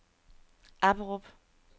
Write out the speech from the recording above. Apperup